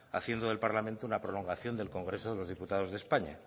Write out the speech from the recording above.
haciendo del parlamento una prolongación del congreso de los diputados de españa